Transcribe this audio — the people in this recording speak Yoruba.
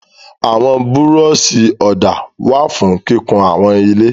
Àwọn búrọ́ṣì ọ̀dà wà fún kíkun àwọn ilé.